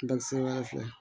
Bakisiba fila